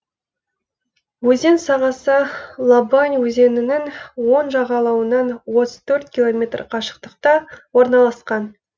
өзен сағасы лабань өзенінің оң жағалауынан отыз төрт километр қашықтықта орналасқан